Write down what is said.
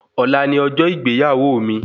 Ọ̀la ni ọjọ́ ìgbéyàwó mi